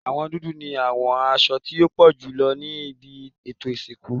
Àwọn dúdú ni àwọ aṣọ tí ó wọ́pọ̀ jùlọ níbí ètò ìsìnkú.